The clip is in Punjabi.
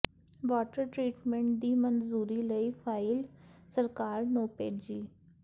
ਵਾਟਰ ਟਰੀਟਮੈਂਟ ਦੀ ਮਨਜ਼ੂਰੀ ਲਈ ਫਾਈਲ ਸਰਕਾਰ ਨੂੰ ਭੇਜੀ